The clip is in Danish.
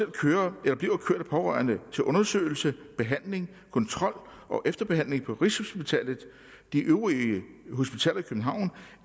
kører eller bliver kørt af pårørende til undersøgelse behandling kontrol og efterbehandling på rigshospitalet de øvrige hospitaler i københavn